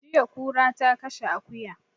Jiya kura ta kashe akuya